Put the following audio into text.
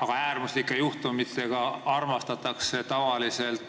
Aga äärmuslike juhtumitega armastatakse tavaliselt